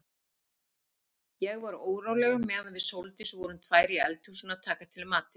Ég var óróleg meðan við Sóldís vorum tvær í eldhúsinu að taka til matinn.